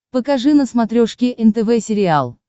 покажи на смотрешке нтв сериал